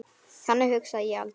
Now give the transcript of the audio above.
Þannig hugsa ég aldrei.